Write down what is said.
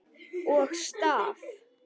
Og staf.